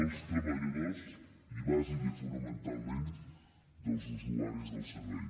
dels treballadors i bàsicament i fonamentalment dels usuaris del servei